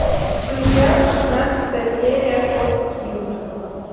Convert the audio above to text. включай шестнадцатая серия фортитьюд